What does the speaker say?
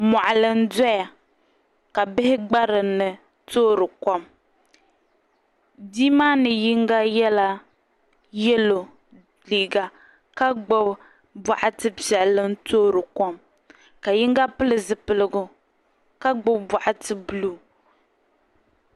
Moɣali n doya ka bihi gba dinni toori kom bihi maa mii yinga yɛla yɛlo liiga ka gbubi boɣati piɛlli n toori kom ka yinga pili zipiligu ka gbubi boɣati buluu